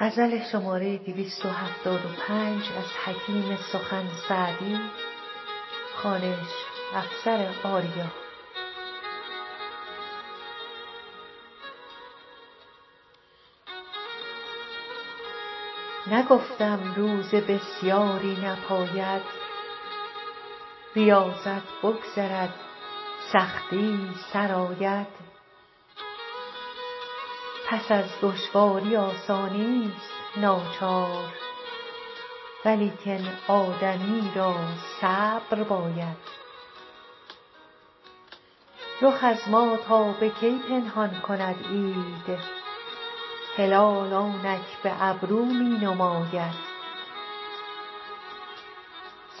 نگفتم روزه بسیاری نپاید ریاضت بگذرد سختی سر آید پس از دشواری آسانیست ناچار ولیکن آدمی را صبر باید رخ از ما تا به کی پنهان کند عید هلال آنک به ابرو می نماید